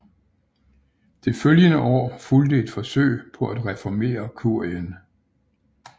Det følgende år fulgte et forsøg på at reformere Kurien